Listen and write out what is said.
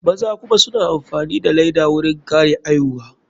Maza kuma suna amfani da laida wurin kare aihuwa.